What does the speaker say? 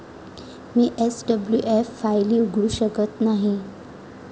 मी SWF फायली उघडू शकत नाही.